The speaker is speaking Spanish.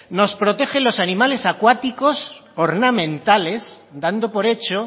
nos protege los animales acuáticos ornamentales dando por hecho